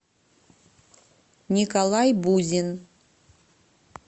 николай бузин